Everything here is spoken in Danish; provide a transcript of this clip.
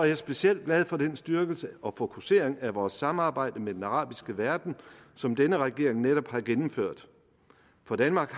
jeg specielt glad for den styrkelse og den fokusering af vores samarbejde med den arabiske verden som denne regering netop har gennemført for danmark